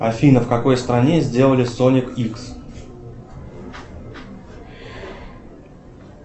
афина в какой стране сделали сонник икс